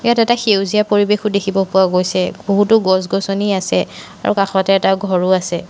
এইটো এটা সেউজীয়া পৰিৱেশো দেখিব পোৱা গৈছে বহুতো গছ গছনি আছে আৰু কাষতে এটা ঘৰো আছে।